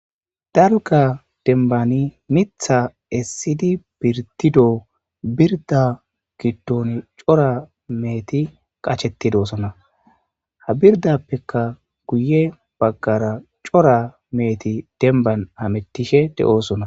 darga dembani mitha essidi pirtido birda giddon cora meeti qachetidosona ha birdappekka guye baggara cora meeti demban amettishe de7oosona